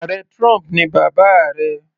Ààrẹ trump ni bàbá rẹ̀.